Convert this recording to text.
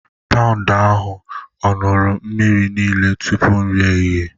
Paụnd ahụ ọ̀ ṅụrụ mmiri niile tupu nri ehihie?